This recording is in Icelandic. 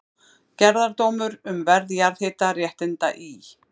Gerðardómur um verð jarðhitaréttinda í